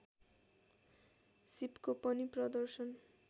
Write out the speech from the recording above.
सीपको पनि प्रदर्शन